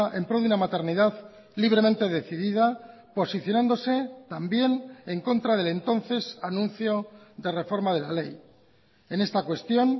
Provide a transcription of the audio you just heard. en pro de una maternidad libremente decidida posicionándose también en contra del entonces anuncio de reforma de la ley en esta cuestión